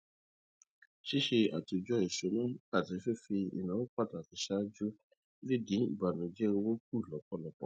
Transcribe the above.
ṣíṣe àtòjọ ìsúná àti fífi ináwó pàtàkì ṣáájú lè dín ìbànújẹ owó kù lọpọlọpọ